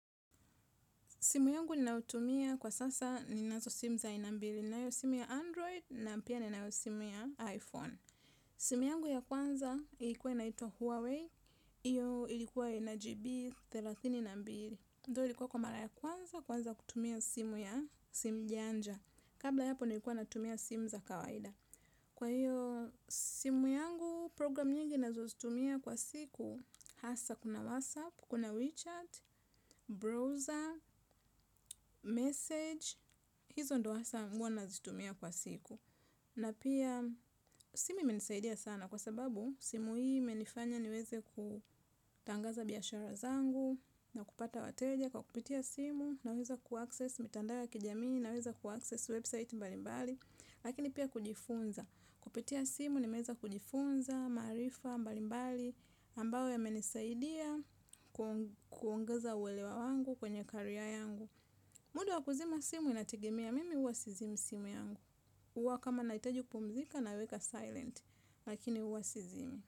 Simu yangu ninautumia kwa sasa ninazo simu za aina mbili. Ninayo simu ya Android na pia ninayo simu ya iPhone. Simu yangu ya kwanza ilikuwa inaitwa Huawei. Iyo ilikuwa ina GB thelathini na mbili. Though ilikuwa kwa mara ya kwanza kuanza kutumia simu ya simu janja. Kabla ya hapo nilikuwa natumia simu za kawaida. Kwa iyo simu yangu program nyingi nazozitumia kwa siku. Hasa kuna WhatsApp, kuna WeChat, Browser, Message. Hizo ndo hasa huwa nazitumia kwa siku na pia simu imenisaidia sana kwa sababu simu hii imenifanya niweze kutangaza biashara zangu. Na kupata wateja kwa kupitia simu naweza kuaccess mitandao ya kijamii naweza kuaccess website mbalimbali. Lakini pia kujifunza kupitia simu nimeweza kujifunza, maarifa mbalimbali ambayo yamenisaidia kuongeza uelewa wangu kwenye carrer yangu. Muda wa kuzima simu inategemea mimi huwa sizimi simu yangu. Huwa kama nahitaji kupumzika naweka silent. Lakini uwa sizimi.